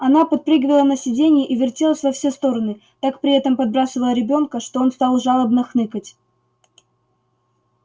она подпрыгивала на сиденье и вертелась во все стороны так при этом подбрасывая ребёнка что он стал жалобно хныкать